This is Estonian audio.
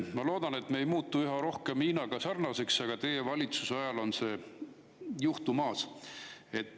Ma loodan, et me ei muutu üha rohkem Hiinaga sarnaseks, aga teie valitsuse ajal on see juhtumas.